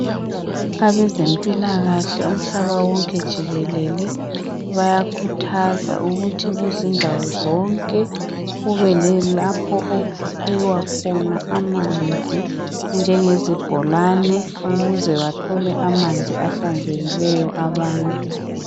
Abezempilakahle umhlaba wonke jikelele, bayakhuthaza ukuthi kuzindawo zonke, kube lalapho okukhiwa khona amanzi njengezibhlolane ukuze bathole amanzi ahlanzekileyo abantu.